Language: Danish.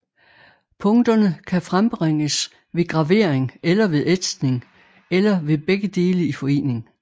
Punkterne kan frembringes ved gravering eller ved ætsning eller ved begge dele i forening